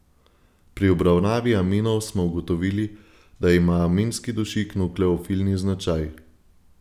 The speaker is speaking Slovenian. Pri obravnavi aminov smo ugotovili, da ima aminski dušik nukleofilni značaj.